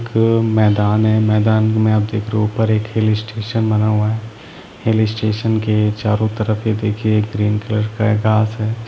एक मैदान है मैदान में अब देख रहे हो एक हिल स्टेशन बना हुआ है हिल स्टेशन के चारों तरफ ही देखिए ग्रीन कलर का गास है।